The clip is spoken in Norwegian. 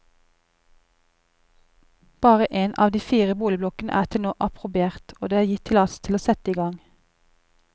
Bare én av de fire boligblokkene er til nå approbert og det er gitt tillatelse til å sette i gang.